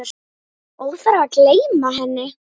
Óþarfi að gleyma henni!